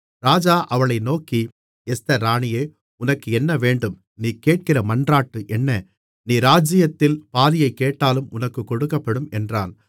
ராஜா அவளை நோக்கி எஸ்தர் ராணியே உனக்கு என்ன வேண்டும் நீ கேட்கிற மன்றாட்டு என்ன நீ ராஜ்ஜியத்தில் பாதியைக் கேட்டாலும் உனக்குக் கொடுக்கப்படும் என்றான்